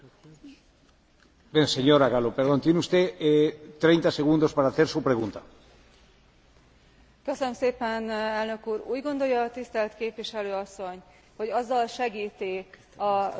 Úgy gondolja a tisztelt képviselő asszony, hogy azzal segíti a román kormányt, hogy közben besározza a saját kormányát, amely már többszörösen bizonyította, hogy tiszteletben tartja a